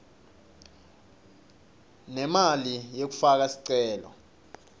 nemali yekufaka sicelo